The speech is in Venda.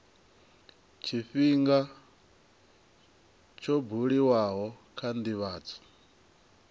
tshifhinga tsho buliwaho kha ndivhadzo